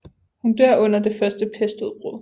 Hun dør under det første pestudbrud